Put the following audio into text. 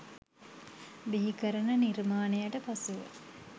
බිහිකරන නිර්මාණයට පසුව